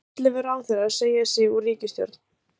Ellefu ráðherrar segja sig úr ríkisstjórn